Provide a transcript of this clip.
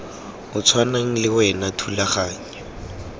o tshwanang le wa thulaganyo